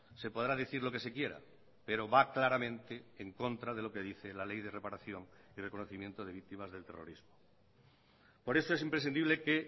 se podrá decir lo que se quiera pero va claramente en contra de lo que dice la ley de reparación y reconocimiento de víctimas del terrorismo por eso es imprescindible que